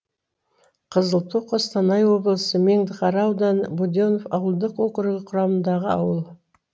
қызылту қостанай облысы меңдіқара ауданы буденнов ауылдық округі құрамындағы ауыл